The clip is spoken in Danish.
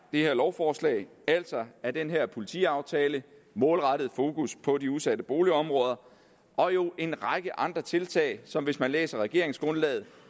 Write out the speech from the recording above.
her lovforslag altså af denne politiaftale et målrettet fokus på de udsatte boligområder og jo en række andre tiltag som hvis man læser regeringsgrundlaget